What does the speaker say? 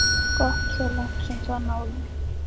Gott svo langt sem það náði.